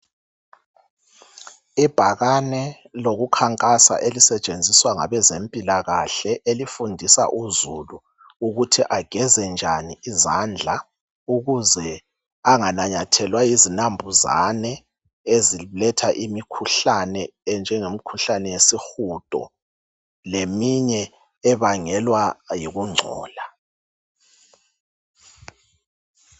Ibhakane lokukhankasa elisetshenziswa ngabezempilakahle elifundisa uzulu ukuthi ageze njani izandla ukuze anganyathelwa yizinambuzane eziletha imikhuhlane enjengemikhuhlane yesihudo leminye ebangelwa yikungcola.